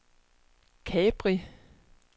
Capri